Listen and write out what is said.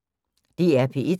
DR P1